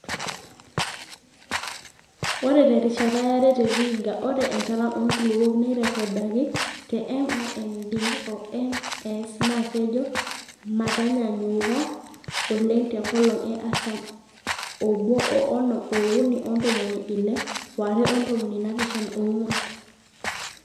Ore te rishata yare te Vihiga ore enchalan oonkulupuok naairrekodaki te M oMD oMS naa kejo mataanyaanyuka oleng te nkolong e artam oobo o onom ookuni ontomoni Ile waare ontomoni naapishana oong'wan.